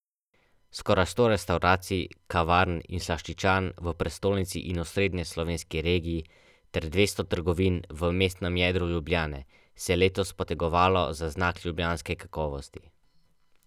Toliko kot pri dokaj intenzivnem treningu.